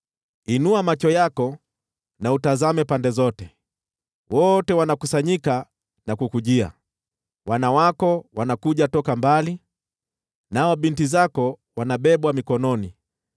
“Inua macho yako na utazame pande zote: Wote wanakusanyika na kukujia, wana wako wanakuja toka mbali, nao binti zako wanabebwa mikononi.